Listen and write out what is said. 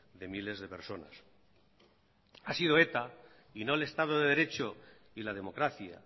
de miles de personas ha sido eta y no el estado de derecho y la democracia